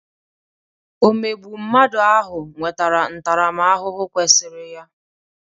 Omegbu mmadụ ahụ nwetara ntaramahụhụ kwesịrị ya.